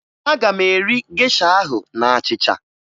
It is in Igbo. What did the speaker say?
Aga m eri gesha ahụ na achịcha